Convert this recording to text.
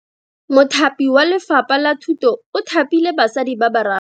Mothapi wa Lefapha la Thuto o thapile basadi ba ba raro.